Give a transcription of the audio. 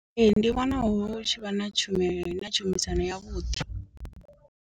Ee ndi vhona hu tshivha na tshume na tshumisano ya vhuḓi.